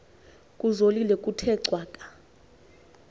kuzolile kuthe cwaka